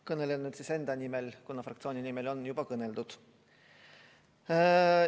Kõnelen enda nimel, kuna fraktsiooni nimel on juba kõneldud.